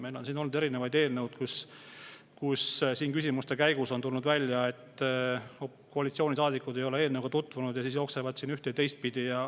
Meil on siin olnud eelnõud, mille küsimuste käigus on tulnud välja, et koalitsioonisaadikud ei ole eelnõuga tutvunud, ja siis jooksevad siin ühte‑ või teistpidi.